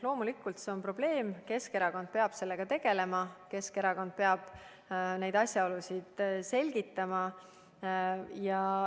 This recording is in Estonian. Loomulikult see on probleem ja Keskerakond peab sellega tegelema, Keskerakond peab neid asjaolusid selgitama.